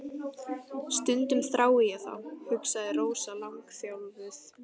Stundum þrái ég þá, hugsaði Rósa langþjálfuð.